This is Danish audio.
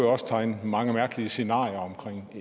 også tegne mange mærkelige scenarier omkring